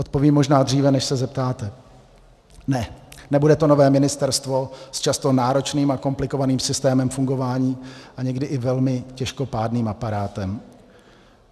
Odpovím možná dříve, než se zeptáte - ne, nebude to nové ministerstvo s často náročným a komplikovaným systémem fungování a někdy i velmi těžkopádným aparátem.